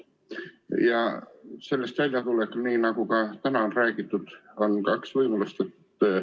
Ja sellest väljatulekuks, nii nagu ka täna on räägitud, on kaks võimalust.